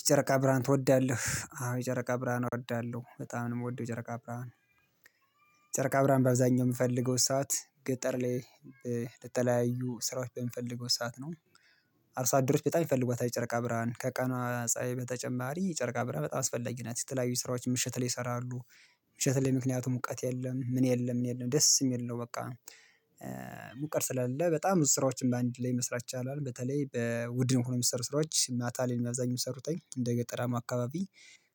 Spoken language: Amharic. የጨረቃ ብርሃን ትወዳለህ? አዎ የጨረቃ ብርሃን እወዳለሁ። በጣም ነው የምወደው የጨረቃ ብርሃን ብርሃን። ጨረቃ ብርሃን በአብዛኛው የምፈልገው ሰዓት ገጠር ላይ ለተለያዩ ስራዎች በምፈልገው ሰዓት ነው። አርሶአደሮች በጣም ይፈልጓታል የጨርቃ ብርሃን ከቀኗ ፀሀይ በተጨማሪ የጨርቃ ብርሃን በጣም አስፈላጊ ናት። የተለያዩ ስራዎችን ምሽት ላይ ይሰራሉ፣ ምሽት ላይ ምክንያቱም ሙቀት የለም ምን የለም ምን የለም ደስ የሚል ነው በቃ ሙቀት ስላለ በጣም ብዙ ስራዎችን በአንድ ላይ መስራት ይቻላል። በተለይ በቡድን ሆኖ የሚሰሩ ስራዎች ማታ ላይ ነው አብዛኛውን ሚሰሩትኝ። እንደ ገጠራማ አካባቢ